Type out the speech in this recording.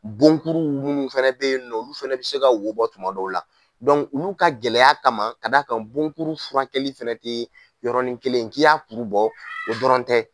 Bon kuru wuku mun fɛnɛ be yen nɔ olu fɛnɛ bi se ka wo bɔ tuma dɔw la. ulu ka gɛlɛya kama k'a d'a kan bon kuru furakɛli fɛnɛ tee yɔrɔnin kelen k'i y'a kuru bɔ , o dɔrɔn tɛ.